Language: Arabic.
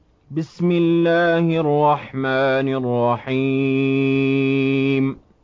بِسْمِ اللَّهِ الرَّحْمَٰنِ الرَّحِيمِ